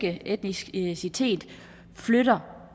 etnicitet flytter